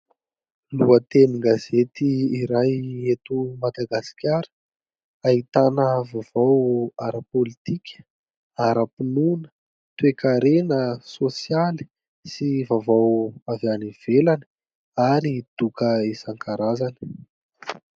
Lohatenin-gazety iray eto Madagasikara, ahitana vaovao ara-pôlitika, ara-pinoana, toe-karena, sôsialy sy vaovao avy any ivelany ary doka isan-karazany.